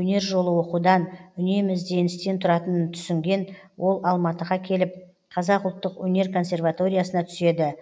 өнер жолы оқудан үнемі ізденістен тұратын түсінген ол алматыға келіп қазақ ұлттық өнер консерваториясына түседі